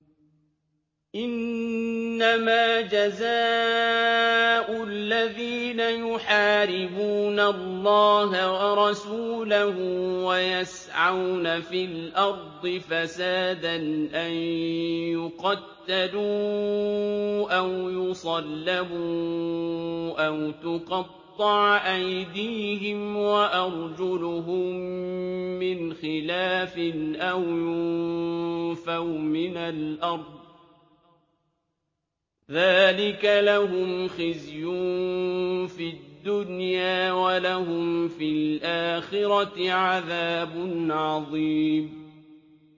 إِنَّمَا جَزَاءُ الَّذِينَ يُحَارِبُونَ اللَّهَ وَرَسُولَهُ وَيَسْعَوْنَ فِي الْأَرْضِ فَسَادًا أَن يُقَتَّلُوا أَوْ يُصَلَّبُوا أَوْ تُقَطَّعَ أَيْدِيهِمْ وَأَرْجُلُهُم مِّنْ خِلَافٍ أَوْ يُنفَوْا مِنَ الْأَرْضِ ۚ ذَٰلِكَ لَهُمْ خِزْيٌ فِي الدُّنْيَا ۖ وَلَهُمْ فِي الْآخِرَةِ عَذَابٌ عَظِيمٌ